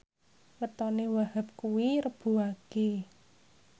wetone Wahhab kuwi Rebo Wage